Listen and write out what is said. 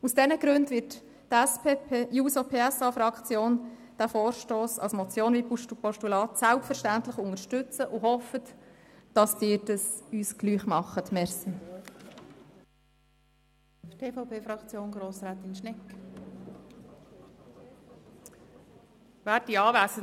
Aus diesen Gründen wird die SP-JUSO-PSA-Fraktion diesen Vorstoss als Motion und selbstverständlich auch als Postulat überweisen und hofft, dass Sie dies auch tun.